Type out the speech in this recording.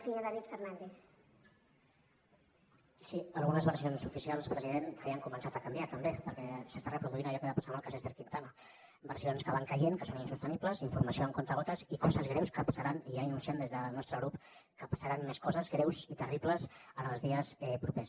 sí algunes versions oficials president ja han començat a canviar també perquè s’està reproduint allò que va passar amb el cas d’ester quintana versions que van caient que són insostenibles informació amb comptagotes i coses greus que passaran i ja anunciem des del nostre grup que passaran més coses greus i terribles els dies propers